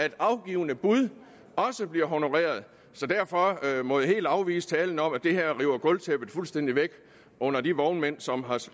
at afgivne bud bliver honoreret så derfor må jeg helt afvise talen om at det her river gulvtæppet fuldstændig væk under de vognmænd som har